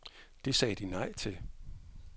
Det sagde de nej til.